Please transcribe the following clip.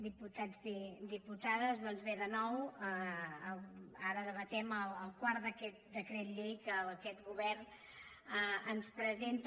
diputats i diputades doncs bé de nou ara debatem el quart d’aquests decrets llei que aquest govern ens presenta